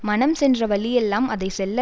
மனம் சென்ற வழியெல்லாம் அதை செல்ல